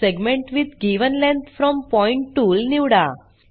segment with given length from point tool निवडा